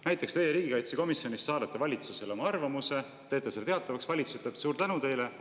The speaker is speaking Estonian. Näiteks teie riigikaitsekomisjonis saadate valitsusele oma arvamuse, teete selle teatavaks, valitsus ütleb: "Suur tänu teile!